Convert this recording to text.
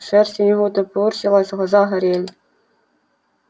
шерсть у него топорщилась глаза горели